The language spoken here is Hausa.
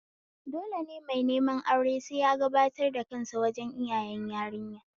Dole mai neman aure sai ya gabatar da kansa wajen iyayen yarinya